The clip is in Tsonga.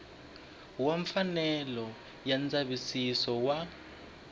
wa mfanelo ya ndzavisiso wa